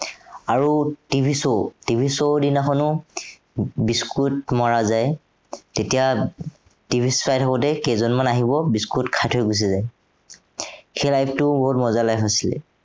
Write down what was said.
আৰু TVshow, TV show ৰ দিনাখনো biscuit মৰা যায় তেতিয়া TV চাই থাকোতেই কেইজনমান আহিব biscuit খাই থৈ গুচি যায়। সেই life টোও বহুত মজা life আছিলে।